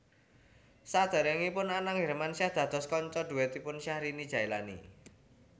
Sadèrèngipun Anang Hermansyah dados kanca dhuètipun Syahrini Jaelani